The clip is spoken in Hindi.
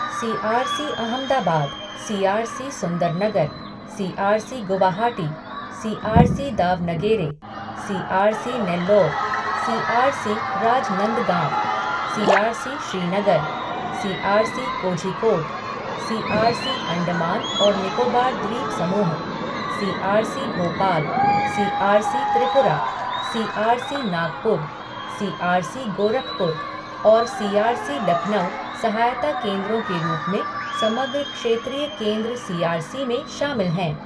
CRC Ahmedabad, CRC Sundernagar, CRC Guwahati CRC Davanagere, CRC Nellore, CRC Rajnandgaon , CRC Srinagar, CRC Kozhikode, CRC Andaman और निकोबार द्वीप समूह, CRC Bhopal, CRC Tripura, CRC Nagpur, CRC Gorakhpur, और सीआरसी लखनऊ सहायता केन्द्रों के रूप में समग्र क्षेत्रीय केंद्र सीआरसी में शामिल हैं।